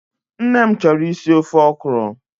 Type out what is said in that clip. Nne m chọrọ isi ofe Okro